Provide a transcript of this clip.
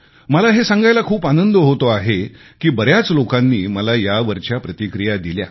मला हे सांगायला खूप आनंद होतो आहे की बऱ्याच लोकांनी मला यावरील प्रतिक्रिया दिल्या